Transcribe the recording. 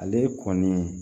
Ale kɔni